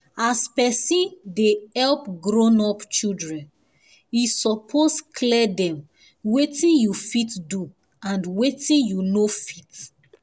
as person dey help grown up children e suppose clear dem weti u fit do and weti u no fit